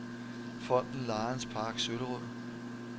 Fonden Lions Park Søllerød